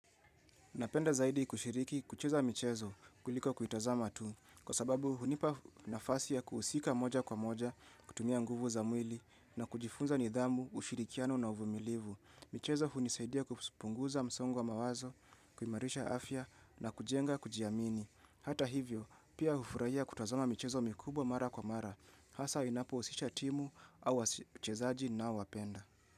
Napenda zaidi kushiriki kucheza michezo kuliko kuitazama tu kwa sababu hunipa nafasi ya kuhusika moja kwa moja kutumia nguvu za mwili na kujifunza nidhamu, ushirikiano na uvumilivu. Michezo hunisaidia kupunguza msongo wa mawazo, kuimarisha afya na kujenga kujiamini. Hata hivyo, pia hufurahia kutazama michezo mikubwa mara kwa mara. Hasa inapohusisha timu au wachezaji ninaowapenda.